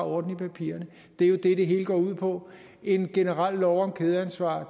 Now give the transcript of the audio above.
orden i papirerne det er jo det det hele går ud på en generel lov om kædeansvar